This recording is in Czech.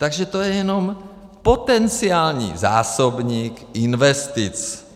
Takže to je jenom potenciální zásobník investic.